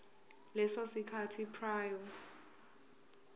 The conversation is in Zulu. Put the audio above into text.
leso sikhathi prior